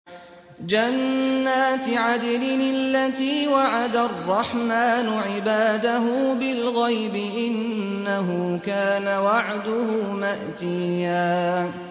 جَنَّاتِ عَدْنٍ الَّتِي وَعَدَ الرَّحْمَٰنُ عِبَادَهُ بِالْغَيْبِ ۚ إِنَّهُ كَانَ وَعْدُهُ مَأْتِيًّا